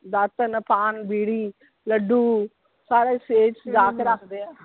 ਦਾਤਣ, ਪਾਨ, ਬੀੜੀ, ਲੱਡੂ ਸਾਰੇ ਸੇਜ ਸਜਾ ਕੇ ਰੱਖ ਦੇ ਆ।